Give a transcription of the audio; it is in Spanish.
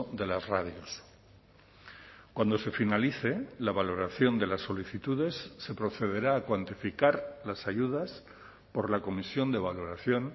de las radios cuando se finalice la valoración de las solicitudes se procederá a cuantificar las ayudas por la comisión de valoración